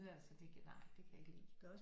Altså nej det kan jeg ikke lide